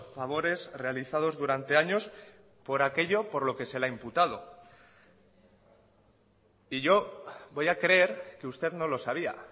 favores realizados durante años por aquello por lo que se le ha imputado y yo voy a creer que usted no lo sabía